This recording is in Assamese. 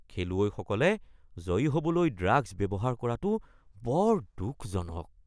খেলুৱৈসকলে জয়ী হ’বলৈ ড্ৰাগছ ব্যৱহাৰ কৰাটো বৰ দুখজনক